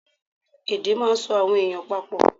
Èdè máà ń so àwọn èèyàn pa pọ̀